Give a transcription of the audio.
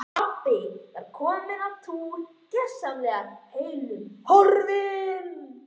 Pabbi var kominn á túr og gersamlega heillum horfinn.